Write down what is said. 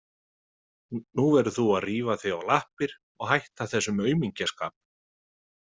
Nú verður þú að rífa þig á lappir og hætta þessum aumingjaskap.